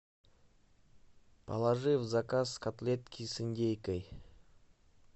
положи в заказ котлетки с индейкой